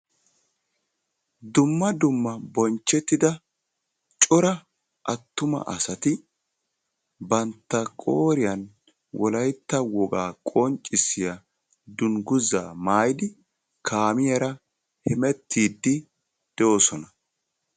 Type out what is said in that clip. dumma dumma bonchettida cora attuma asati bantta qooriyan wolaytta danguzzaa maayyidi hemettiidi de'oososna.